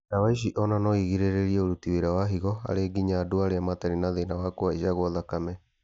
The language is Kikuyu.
Ndawa ici ona noirigĩrĩrie ũruti wĩra wa higo harĩ nginya andũ arĩa matarĩ na thĩna wa kũhaica gwa thakame